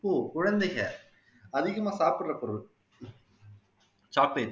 குழந்தைங்க அதிகமா சாப்பிடுற பொருள் chocolate